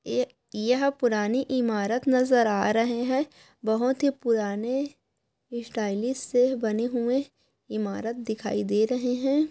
ये यह पुरानी इमारत नज़र आ रहे है बहुत ही पुराने स्टाइलिश से बने हुए इमारत दिखाई दे रहे है--